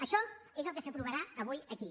això és el que s’aprovarà avui aquí